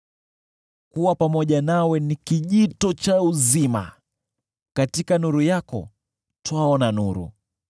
Kuwa pamoja nawe ni kijito cha uzima, katika nuru yako twaona nuru.